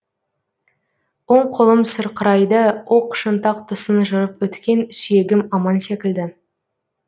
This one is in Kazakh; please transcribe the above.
оң қолым сырқырайды оқ шынтақ тұсын жырып өткен сүйегім аман секілді